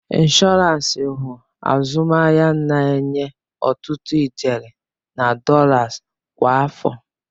Inshọransi wụ azụmahịa na-enye ọtụtụ ijeri na dọlas kwa afọ.